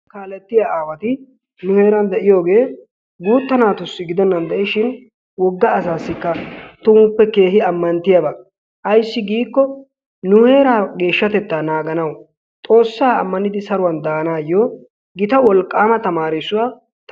Kaalettiya aawati nu heeran de'iyogee guutta naatussi gidennan de'ishin wogga asaassikka tumuppe keehi ammanttiyaba. Ayssi giikko nu heeraa geeshshatettaa naaganawu, xoossaa ammanidi saruwan daanaayyo gita wolqqaama tamaarissuwaa ta